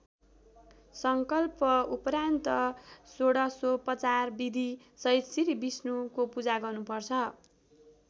संकल्पउपरान्त षोडशोपचार विधि सहित श्री विष्णुको पूजा गर्नुपर्छ।